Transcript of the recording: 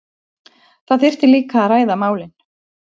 Það þyrfti líka að ræða málin